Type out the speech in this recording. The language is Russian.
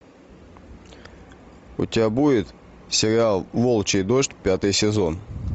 у тебя будет сериал волчий дождь пятый сезон